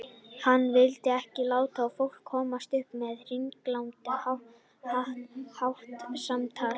Hann vildi ekki láta fólk komast upp með hringlandahátt í samtali.